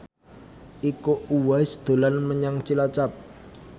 Iko Uwais dolan menyang Cilacap